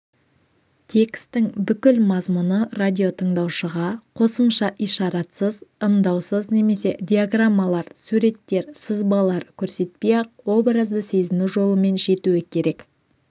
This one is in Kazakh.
текстің бүкіл мазмұны радиотыңдаушыға қосымша ишаратсыз ымдаусыз немесе диаграммалар суреттер сызбалар көрсетпей-ақ образды сезіну жолымен жетуі керек